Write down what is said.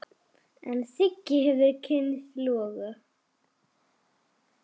En Siggi hefur kynnst loga.